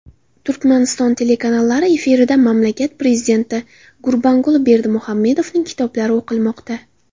Turkmaniston telekanallari efirida mamlakat prezidenti Gurbanguli Berdimuhamedovning kitoblari o‘qilmoqda.